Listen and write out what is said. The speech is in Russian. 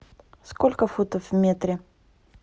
сколько футов в метре